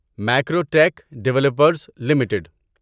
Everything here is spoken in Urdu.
Macrotech Developers limited